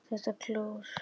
ÞETTA KLÓR!